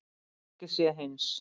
Ekki sé hins